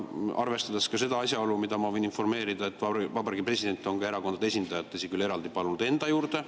Ja arvestada võiks ka seda asjaolu, millest ma võin informeerida, et vabariigi president on erakondade esindajad, tõsi küll, eraldi, palunud enda juurde.